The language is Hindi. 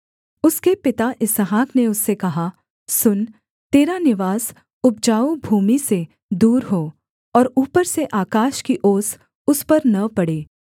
उसके पिता इसहाक ने उससे कहा सुन तेरा निवास उपजाऊ भूमि से दूर हो और ऊपर से आकाश की ओस उस पर न पड़े